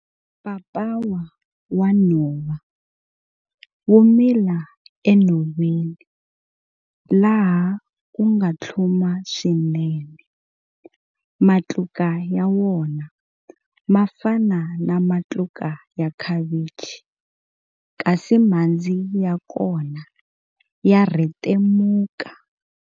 Papawa wa nhova wu mila enhoveni laha ku nga tlhuma swinene. Matluka ya wona ma fana na matluka ya khavichi kasi mhandzi ya kona ya rhetemuka.